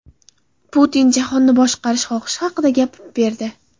Putin jahonni boshqarish xohishi haqida gapirib berdi.